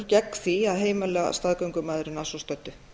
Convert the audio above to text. gegn að að heimila staðgöngumæðrun að svo stöddu